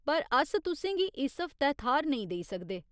पर अस तुसें गी इस हफ्तै थाह्‌र नेईं देई सकदे।